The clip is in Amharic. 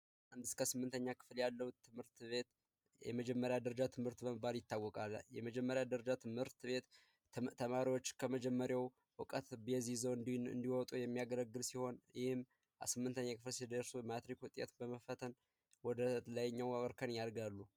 እስከ 8ኛ ክፍል ያለው ትምህርት ቤት የመጀመሪያ ደረጃ ትምህርት ይታወቃል የመጀመሪያ ደረጃ ትምህርት ቤት ተማሪዎች ከመጀመሪያው እውቀት ቤዝ ይዞ እንዲወጡ የሚያገለግል ሲምንተኛ ክፍል ማትሪክ ውጤት በመፈተን ወደ ላይኛው የትምህርት እርከን ያድጋሉ